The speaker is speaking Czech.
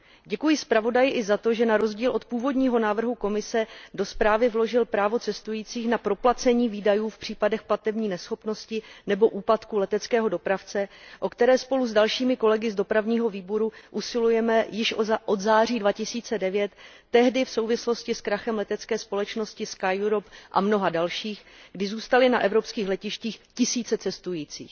Děkuji zpravodaji i za to, že na rozdíl od původního návrhu Komise do zprávy vložil právo cestujících na proplacení výdajů v případech platební neschopnosti nebo úpadku leteckého dopravce, o které spolu s dalšími kolegy z Výboru pro dopravu usilujeme již od září 2009, tehdy v souvislosti s krachem letecké společnosti SkyEurope a mnoha dalších, kdy zůstali na evropských letištích tisíce cestujících.